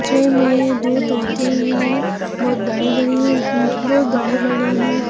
जेमे दो तोते है बहुत बड़े-बड़े है बहुत बड़े-बड़े है।